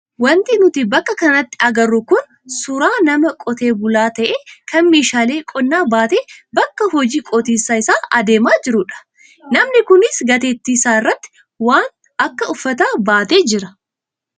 Wanti nuti bakka kanatti agarru kun suuraa nama qotee bula ta'e kan meeshaalee qonnaa baatee bakka hojii qotiisa isaa adeemaa jirudha. Namni kunis gateettii isaa irratti waan akka uffataas baatee jira.